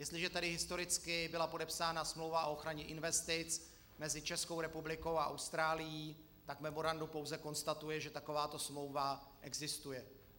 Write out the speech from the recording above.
Jestliže tedy historicky byla podepsána smlouva o ochraně investic mezi Českou republikou a Austrálií, tak memorandum pouze konstatuje, že takováto smlouva existuje.